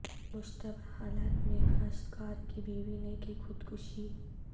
مشتبہ حالات میں کاشتکار کی بیوی نے کی خود کشی